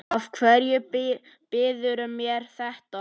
Af hverju býðurðu mér þetta?